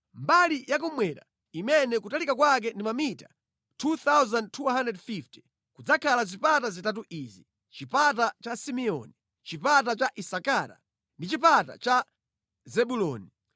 “Mbali yakummwera, imene kutalika kwake ndi mamita 2,250, kudzakhala zipata zitatu izi: chipata cha Simeoni, chipata cha Isakara ndi chipata cha Zebuloni.